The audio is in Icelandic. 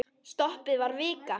Stoppið var vika.